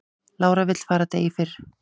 Lára vill fara degi fyrr